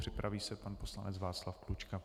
Připraví se pan poslanec Václav Klučka.